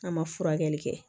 An ma furakɛli kɛ